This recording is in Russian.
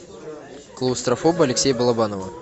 клаустрофоб алексея балабанова